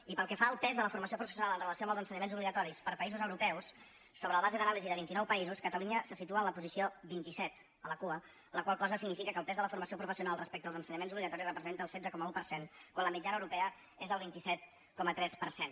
i pel que fa al pes de la formació professional en re·lació amb els ensenyament obligatoris per països eu·ropeus sobre la base d’anàlisi de vint·i·nou països catalunya se situa en la posició vint·i·set a la cua la qual cosa significa que el pes de la formació professi·onal respecte als ensenyaments obligatoris representa el setze coma un per cent quan la mitjana europea és del vint set coma tres per cent